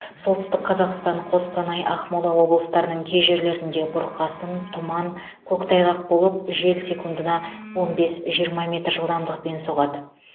солтүстік қазақстан қостанай ақмола облыстарының кей жерлерінде бұрқасын тұман көктайғақ болып жел секундына он бес жиырма метр жылдамдықпен соғады